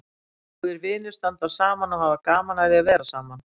Góðir vinir standa saman og hafa gaman af að vera saman.